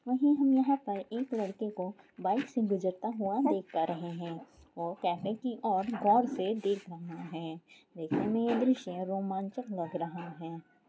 और हम यहां पर एक लड़के को बाइक से गुजरते हुआ देख पा रहे है। और कैमरे की और गौर से देख रहा है और देखने में यह दर्शय रोमांच लग रहा है।